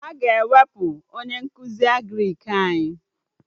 Aga ewepụ onye nkụzi Agrịk anyị